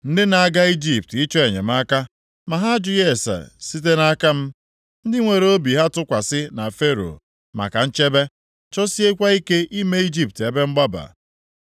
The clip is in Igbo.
Ndị na-aga Ijipt ịchọ enyemaka ma ha ajụtaghị ase site nʼaka m. Ndị were obi ha tụkwasị na Fero maka nchebe, chọsiekwa ike ime Ijipt ebe mgbaba.